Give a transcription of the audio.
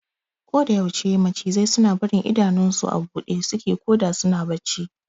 Koda yaushe macizai suna barin idanun su a buɗe suke koda suna bacci